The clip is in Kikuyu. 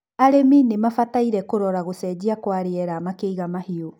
arĩmi ni mabataire kũrora gũcenjia kwa rĩera makĩiga mahiũ